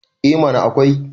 eh mana akwai